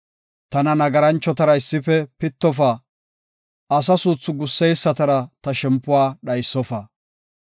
Tana nagaranchotara issife pittofa; asa suuthu gusseysatara ta shempuwa dhaysofa.